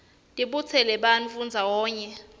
tibutsela bantfu ndzawonye